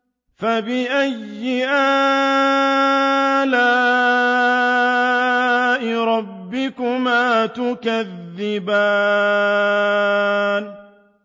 فَبِأَيِّ آلَاءِ رَبِّكُمَا تُكَذِّبَانِ